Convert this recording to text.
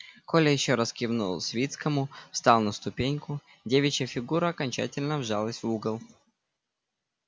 коля ещё раз кивнул свицкому встал на ступеньку девичья фигура окончательно вжалась в угол